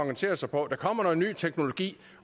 organisere sig på der kommer ny teknologi